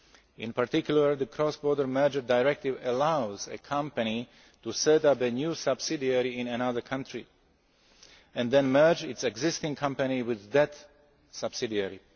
parties. In particular, the Cross Border Mergers Directive allows a company to set up a new subsidiary in another country and then merge its existing company with that subsidiary.